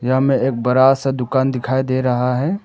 सामने एक बड़ा सा दुकान दिखाई दे रहा है।